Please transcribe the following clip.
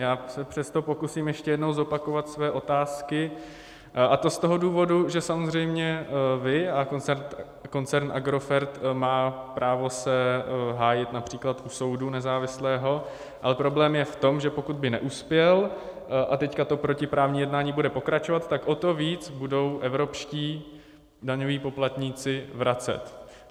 Já se přesto pokusím ještě jednou zopakovat své otázky, a to z toho důvodu, že samozřejmě vy a koncern Agrofert má právo se hájit například u soudu, nezávislého, ale problém je v tom, že pokud by neuspěl a teďka to protiprávní jednání bude pokračovat, tak o to víc budou evropští daňoví poplatníci vracet.